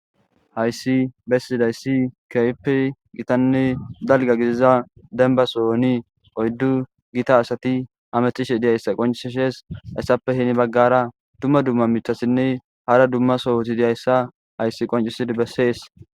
Hausi besidausi keehippe gitanne dalga gidiza demba sohoni oydu Gita adayi hamutishe dizausa qoncisishe haysappe heni bagara duma duma mithatinne hara duma sohoti dizaysa haysi qoncisidi besses.